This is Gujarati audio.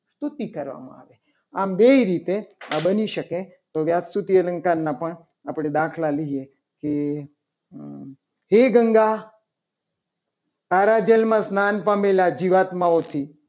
સ્તુતિ કરવામાં આવી આમ બે રીતે આ બની શકે. તો વ્યાજસ્તુતિ અલંકારના પણ આપણી દાખલા લઈએ. કે હે ગંગ તારા જેલમાં સ્નાન પામેલા જીવાત્માઓથી